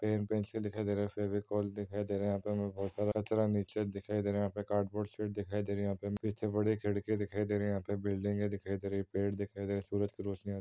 pen pencil से दिखाई दे रहे हैं फेविकोल दिखाई दे रहा यहाँ पे हमें बोहोत सारा कचरा नीचे दिखाई दे रहा यहाँ पे हमें कार्ड बोर्ड शीट दिखाई दे रही है यहाॅं पे इतनी बड़ी खिड़की दिखाई दे रही है यहाँ पे बिल्डिंगे दिखाई दे रही यहाॅं पे पेड़ दिखाई दे रहे सूरज की रोशनी आती --